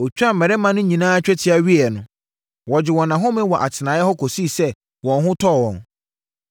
Ɔtwaa mmarima no nyinaa twetia wieeɛ no, wɔgyee wɔn ahome wɔ atenaeɛ hɔ kɔsii sɛ wɔn ho tɔɔ wɔn.